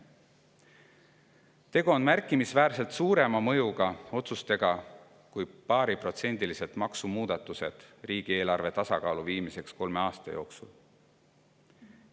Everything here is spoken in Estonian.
Tegu on märkimisväärselt suuremamõjuliste otsustega kui paariprotsendilised maksumuudatused riigieelarve tasakaalu viimiseks kolme aasta jooksul.